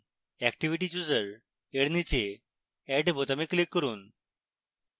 activity chooser এর নীচে add বোতামে click করুন